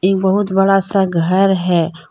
बहुत बड़ा सा घर है।